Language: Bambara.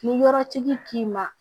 Ni yɔrɔtigi k'i ma